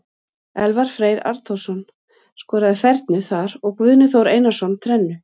Elvar Freyr Arnþórsson skoraði fernu þar og Guðni Þór Einarsson þrennu.